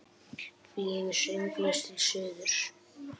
Flýgur sönglaus til suðurs.